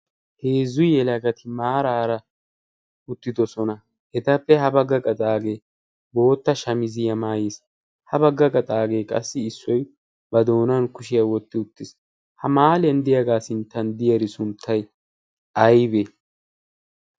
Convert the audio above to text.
heezzu yelagati maaraara uttidosona. hetappe ha bagga qaxaagee bootta shamiziyaa maayiis. ha bagga qaxaagee qassi issoy ba doonan kushiyaa wotti uttiis. ha maaliyan diyaagaa sinttan diyeri sunttay aybee?